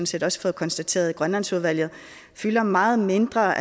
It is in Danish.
set også fået konstateret i grønlandsudvalget fylder meget mindre